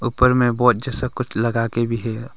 ऊपर में बोज जैसा कुछ लगा के भी है।